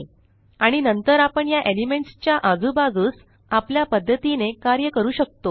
आणि नंतर आपण या Elementsच्या आजूबाजूस आपल्या पद्धतीने कार्य करू शकतो